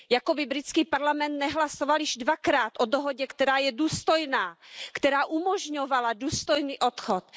Jako by britský parlament nehlasoval již dvakrát o dohodě, která je důstojná, která umožňovala důstojný odchod.